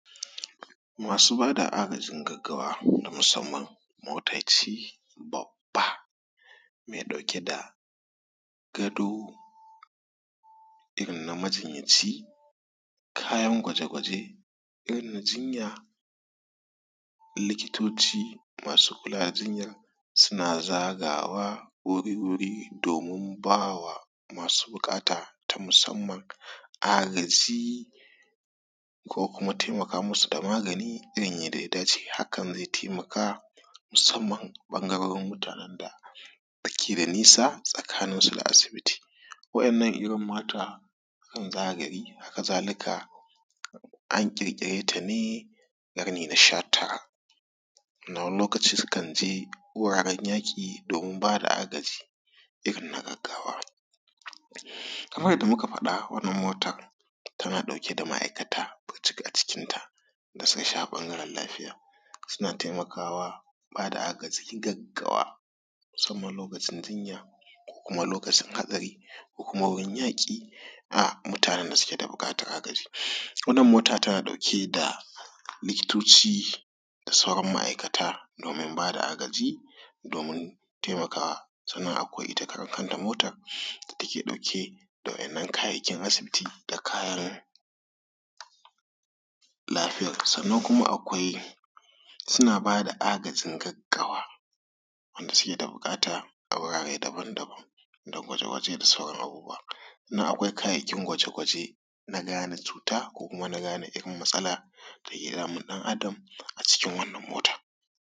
Masu ba da agajin gaggawa na musamman mota ce babba me ɗauke da gado irin na majinyanci, kayan kwaje-kwaje irin na jinya, likitoci masu kula da jinyar suna zagawa wuri-wuri domin ba wa masu buƙata ta musammam agaji ko kuma taimaka musu da magani wanda ya dace. Hakan ze taimaka musamman bangarorin mutanen da ke da nisa tsakanin su da asibiti waɗannan irin mota yakan zagaye, haka zalika an ƙirƙire ne a ƙarni na shatara. W ani lokaci sukan je wuraren yaƙi domin ba da agaji irin na gaggawa kaman yadda muka faɗa wannan motan tana ɗauke da ma’aikata burjik a cikinta da sauran al’amuran lafiya. Suna taimaka ba da agajin gagawa musamman lokacin jinya ko kuma lokacin hatsari ko kuma wurin yaƙi da mutanen da suke da buƙtan agaji wannan mota tana ɗauke da likitoci da sauran ma’aikata domin bada agaji domin taimakawa sannan akwai ita karan kanta motar da keɗauke da wain nan kayan asibiti da kayan lafiyar sannan kuma akwai suna bada agajin gaggawa wanda suke da buƙata a urare daban daban na huɗu kwaje kwaje da sauran abubbuwa wannan akwai kayayyakin kwaje kwaje na gane cuta ko kuma na gane wani matsala dake damun ɗan’Adam a cikin wannan motan.